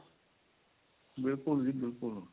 ਬਿਲਕੁੱਲ ਜੀ ਬਿਲਕੁੱਲ